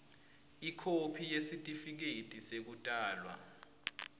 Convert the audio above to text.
ikhophi yesitifiketi sekutalwa